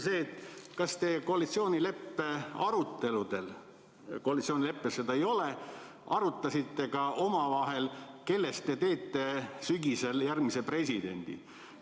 Koalitsioonileppes seda ei ole, aga kas te arutasite omavahel, kellest te teete sügisel järgmise presidendi?